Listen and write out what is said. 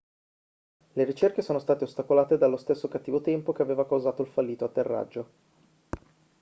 le ricerche sono state ostacolate dallo stesso cattivo tempo che aveva causato il fallito atterraggio